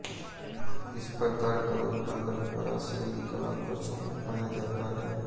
इस प्रकार का उत्पादन पराश्रयी कलापक्षों में पाया जाता है